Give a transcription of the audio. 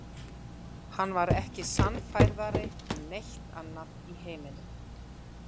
Hann var ekki sannfærðari um neitt annað í heiminum.